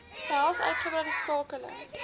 behels uitgebreide skakeling